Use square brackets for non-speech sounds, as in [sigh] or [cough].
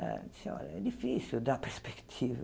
Ela disse, olha, é difícil dar [laughs] perspectiva.